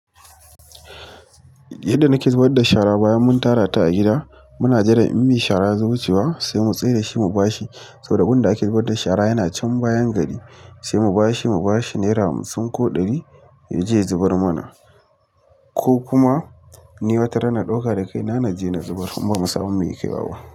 Yadda nake zubar da shara bayan mun tarata a gida, muna jiran in me shara ya zo wucewa sai mu tsai da shi mu ba shi. Saboda wurinnda ake zubar da shara yana can bayan gari sai mu bashi, mu ba shi nera hamsin ko ɗari ya je ya zubar mana, ko kuma ni wata rana na ɗauka da kai na naje na zubar kuma ban samu mai kaiwa.